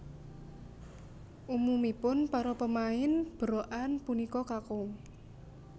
Umumipun para pemain berokan punika kakung